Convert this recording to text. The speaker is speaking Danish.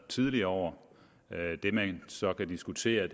tidligere år det man så kan diskutere